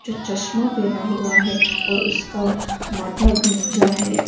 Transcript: जो चश्मा पहना हुआ है और उसका माथा गंजा है।